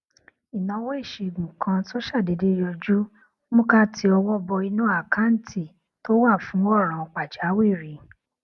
ìnáwó ìṣègùn kan tó ṣàdédé yọjú mú ká ti ọwọ bọ inú àkáǹtì tó wà fún òràn pàjáwìrì